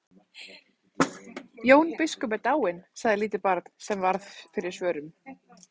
Jón biskup er dáinn, sagði lítið barn sem varð fyrir svörum.